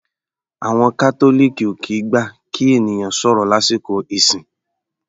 Àwọn Catholic ò kìí gbà kí ènìyàn sọ̀rọ̀ lásìkò ẹ̀sìn.